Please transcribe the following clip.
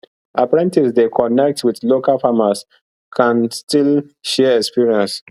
apprentices dey connect with local farmers kan still share experience